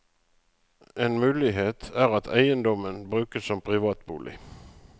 En mulighet er at eiendommen brukes som privatbolig.